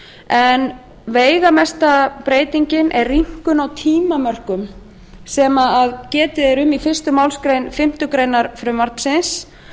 en veigamesta breytingin er rýmkun á tímamörkum sem getið er um í fyrstu málsgrein fimmtu grein frumvarpsins